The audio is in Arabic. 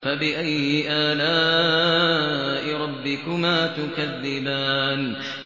فَبِأَيِّ آلَاءِ رَبِّكُمَا تُكَذِّبَانِ